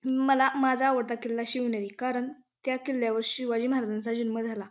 मला माझा आवडता किल्ला शिवनेरी कारण त्या किल्ल्यावर शिवाजी महाराजांचा जन्म झाला.